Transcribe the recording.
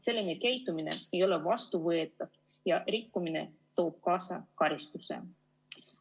Selline käitumine ei ole vastuvõetav ja rikkumine toob kaasa karistuse.